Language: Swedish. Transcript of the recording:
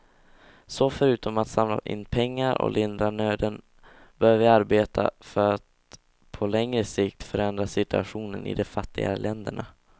Så förutom att samla in pengar och lindra nöden bör vi arbeta för att på längre sikt förändra situationen i de fattigare länderna.